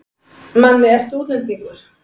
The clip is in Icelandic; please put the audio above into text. Manni, ertu útlendingur?